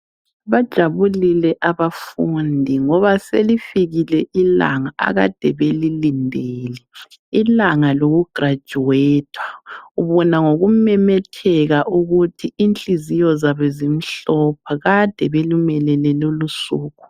Bajabulile abafundi ngoba selifikile ilanga akade belilendele ilanga lokugraduter ubona ngokumomotheka ukuthi ihliziyo zabo zimhlophe kade belulindele lolusuku